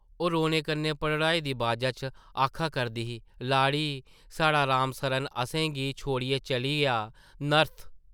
ओह् रोने कन्नै भरड़ाई दी बाजा च आखा करदी ही, ‘‘लाड़ी, साढ़ा राम सरन असें गी छोड़ियै चली’आ, नर्थ...।’’